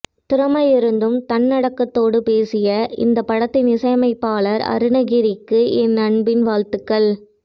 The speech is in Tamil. திறமை இருந்தும் தன்னடக்கத்தோடு பேசிய இந்த படத்தின் இசையமைப்பாளர் அருணகிரிக்கு என் அன்பின் வாழ்த்துகள்